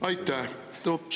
Aitäh!